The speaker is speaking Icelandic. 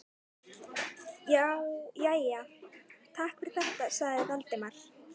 Jæja, takk fyrir þetta- sagði Valdimar.